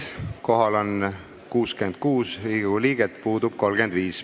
Kohal on 66 Riigikogu liiget, puudub 35.